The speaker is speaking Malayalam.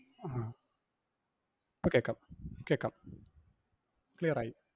ആഹ് ഇപ്പൊ കേക്കാം കേക്കാം clear ആയി